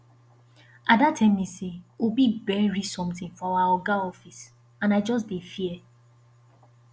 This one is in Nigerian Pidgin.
ada tell me say obi bury something for our oga office and i just dey fear